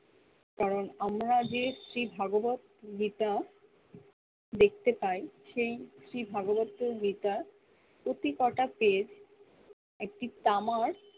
কারন আমরা যে ভগোবিদ যে টা দেখতে পাই সেই শ্রী ভগোবিদ গীতা প্রতি কটা page একটি তামার